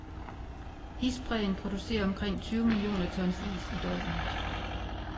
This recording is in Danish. Isbræen producerer omkring tyve millioner tons is i døgnet.